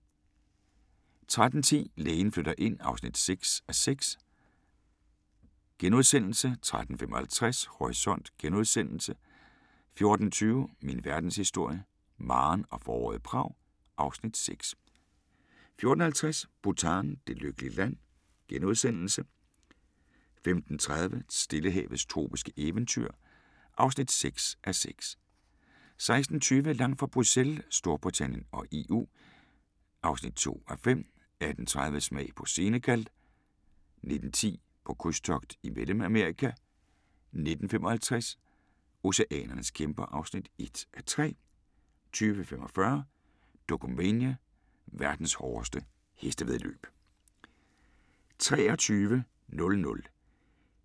13:10: Lægen flytter ind (6:6)* 13:55: Horisont * 14:20: Min verdenshistorie – Maren og foråret i Prag (Afs. 6) 14:50: Bhutan: Det lykkelige land * 15:30: Stillehavets tropiske eventyr (6:6) 16:20: Langt fra Bruxelles – Storbritannien og EU (2:5) 18:30: Smag på Senegal 19:10: På krydstogt i Mellemamerika 19:55: Oceanernes kæmper (1:3) 20:45: Dokumania: Verdens hårdeste hestevæddeløb